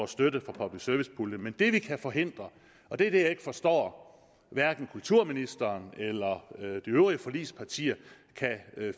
støtte fra public service puljen men det vi kan forhindre og det er det jeg ikke forstår at hverken kulturministeren eller de øvrige forligspartier kan